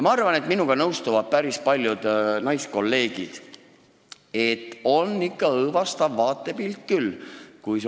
Ma arvan, et minuga nõustuvad päris paljud naiskolleegid, et operatsioon on ikka õõvastav vaatepilt küll.